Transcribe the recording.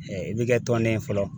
i bɛ kɛ tɔnden ye fɔlɔ